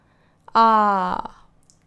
Aaaaaaaa!